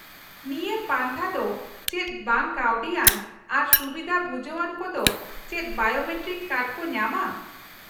-ᱱᱤᱭᱟᱹ ᱯᱟᱱᱛᱷᱟ ᱫᱚ ᱪᱮᱫ ᱵᱟᱝ ᱠᱟᱹᱣᱰᱤᱭᱟᱱ, ᱟᱨ ᱥᱩᱵᱤᱫᱷᱟ ᱵᱷᱩᱡᱟᱹᱣᱟᱱ ᱠᱚᱫᱚ ᱪᱮᱫ ᱵᱟᱭᱳᱢᱮᱴᱨᱤᱠ ᱠᱟᱨᱰ ᱠᱚ ᱧᱟᱢᱟ ?